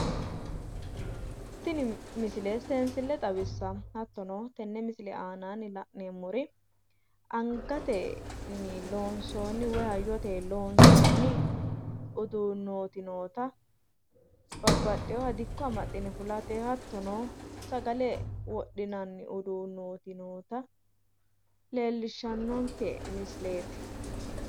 Tini misile seensille xawissanno. Hattono tenne misile aanaanni la’neemmori angatenni loonsoonni woyi hayyotenni loonsoonni uduunooti noota babbaxewowa dikko amaxxine fulate hattono sagale wodhinanni uduunnooti noota leellishshannonke misileeti.